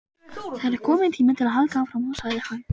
Það er kominn tími til að halda áfram sagði hann.